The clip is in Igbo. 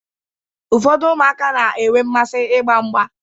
Ụfọdụ ụmụaka na-enwe mmasị ịgba mgba.